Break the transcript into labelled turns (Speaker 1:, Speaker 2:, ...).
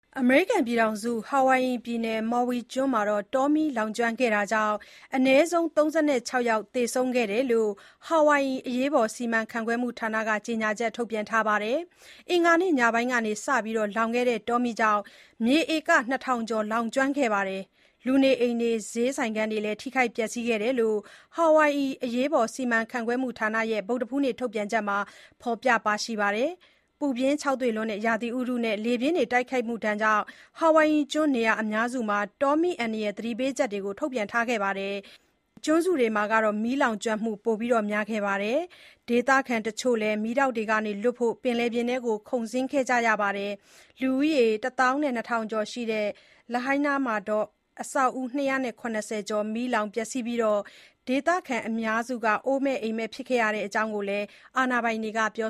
Speaker 1: အမေရိကန်ပြည်ထောင်စု Hawaii ပြည်နယ်၊ Maui (မော်ဝီ) ကျွန်း တောမီးလောင်ကျွမ်းခဲ့တာကြောင့် အနည်းဆုံး ၃၆ ယောက်သေဆုံးခဲ့တယ်လို့ Hawaii အရေးပေါ်စီမံခန့်ခွဲမှုဌာနက ကြေညာချက်ထုတ်ပြန်ပါတယ်။ အင်္ဂါနေ့ညပိုင်းက စပြီးလောင်ခဲ့တဲ့ တောမီးကြောင့် မြေဧက ၂၀၀၀ ကျော် လောင်ကျွမ်းခဲ့ပြီး လူနေအိမ်တွေ၊ ဈေးဆိုင်ခန်းတွေ ထိခိုက်ပျက်စီးခဲ့တယ်လို့ Hawaii အရေးပေါ်စီမံခန့်ခွဲမှုဌာနရဲ့ ဗုဒ္ဓဟူးနေ့ ထုတ်ပြန်ချက်မှာ ဖော်ပြပါတယ်။ ပူပြင်းခြောက်သွေ့တဲ့ ရာသီဥတုနဲ့ လေပြင်းတိုက်ခတ်မှုတွေကြောင့် Hawaii ကျွန်း နေရာအများစုမှာ တောမီးအန္တရာယ်သတိပေးချက် ထုတ်ပြန်ထားခဲ့တာပါ။ Big Island နဲ့ Maui ကျွန်းစုတွေမှာ မီးလောင်ကျွမ်းမှု ပိုများပါတယ်။ ဒေသခံတချို့လည်း မီးတောက်တွေကနေ လွတ်ဖို့ ပင်လယ်ပြင်ထဲ ခုန်ဆင်းခဲ့ကြရတာပါ။ လူဦးရေ ၁၂၀၀၀ ကျော်ရှိတဲ့ Lahaina မြို့မှာ အဆောက်အဦး ၂၇၀ ကျော်မီးလောင်ပျက်စီးခဲ့ပြီး ဒေသခံအများစု အိုးမဲ့အိမ်မဲ့ဖြစ်ခဲ့ရတဲ့ အကြောင်းလည်း အာဏာပိုင်
Speaker 2: တွေကပြေ